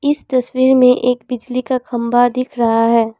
इस तस्वीर में एक बिजली का खंभा दिख रहा है।